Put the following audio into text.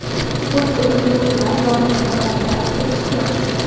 O‘t o‘chiruvchilar yong‘inni bartaraf etishgan.